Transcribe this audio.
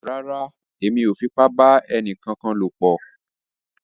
Rárá, Èmí o fipa ba ẹnìkan lopọ o